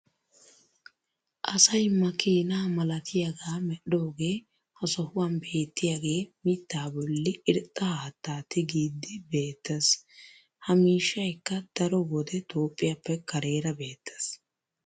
Asay makkiina malattiyaaga medhidoogee ha sohuwan beetiyaage mitaa boli irxxa haattaa tigiidi beetees. Ha miishshaykka daro wode Toophiyaappe kareera beetees.